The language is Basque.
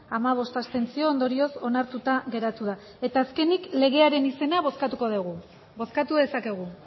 hamabost abstentzio ondorioz onartuta geratu da eta azkenik legearen izena bozkatuko dugu bozkatu dezakegu